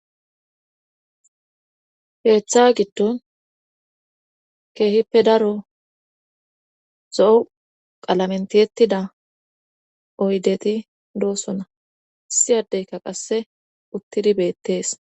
Keeththa giddon keehippe daro zo7u qalamentiyettida oydeti doosona issi adeyka qasse uttidi beettees.